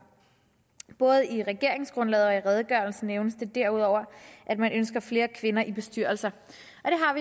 både i regeringsgrundlaget og i redegørelsen nævnes derudover at man ønsker flere kvinder i bestyrelser